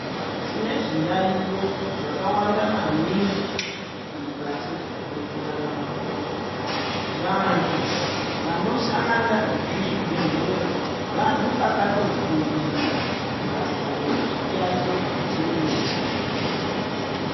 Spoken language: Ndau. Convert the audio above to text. Tine zviyayiyo zvakawanda maningi mukati mwekurarama kwedu. Vantu vanoshanda muzvibhedhlera vantu vakatofundira basa rechiyayiyo chimwe nachimwe.